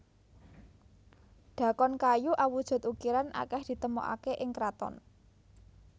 Dhakon kayu awujud ukiran akeh ditemokake ing kraton